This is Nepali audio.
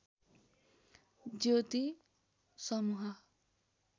ज्योति समुह